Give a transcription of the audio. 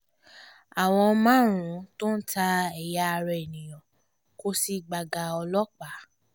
àwọn márùn-ún tó ń ta ẹ̀yà ara èèyàn kò sì gbága ọlọ́pàá